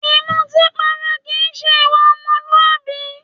Ìmútípara kìí se ìwà ọmọlúwàbí.